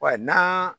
Wa na